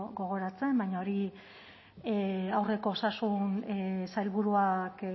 gogoratzen baina hori aurreko osasun sailburuak